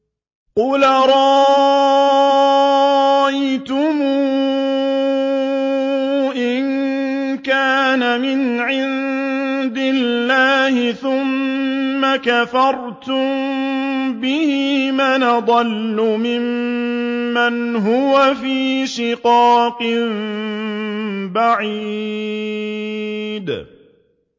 قُلْ أَرَأَيْتُمْ إِن كَانَ مِنْ عِندِ اللَّهِ ثُمَّ كَفَرْتُم بِهِ مَنْ أَضَلُّ مِمَّنْ هُوَ فِي شِقَاقٍ بَعِيدٍ